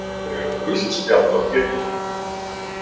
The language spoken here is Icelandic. Af hverju er það gult spjald á Pétur?